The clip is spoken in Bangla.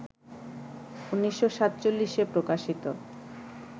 ১৯৪৭-এ প্রকাশিত